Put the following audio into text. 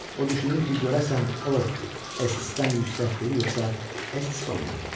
O düşünür ki, görəsən o Estisdən yüksəkdir, yoxsa Estis ondan.